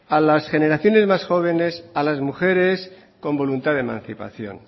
a las generaciones más jóvenes a las mujeres con voluntad de emancipación